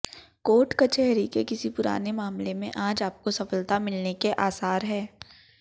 coat कचहरी के किसी पुराने मामले में आज आपको सफलता मिलने के आसार हैं